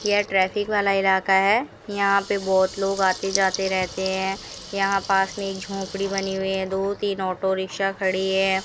यह ट्रैफिक वाला इलाका है यहां पे बहुत लोग आते जाते रहते हैं यहां पास में एक झोपड़ी बनी हुई है दो तीन ऑटो रिक्शा खड़ी है।